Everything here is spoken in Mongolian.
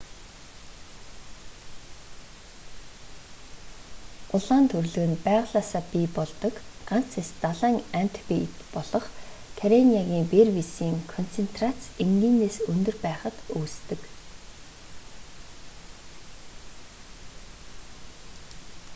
улаан түрлэг нь байгалиасаа бий болдог ганц эст далайн амьд биет болох карениагийн бревисийн концентрац энгийнээс өндөр байхад үүсдэг